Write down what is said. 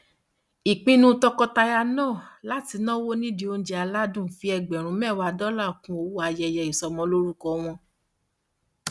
ìpinnu tọkọtaya náà láti náwó nídìí oúnjẹ aládùn fi ẹgbẹrún mẹwàá dọlà kún owó ayẹyẹ ìsọmọlórúkọ wọn